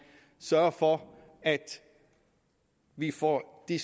sørger for at vi får de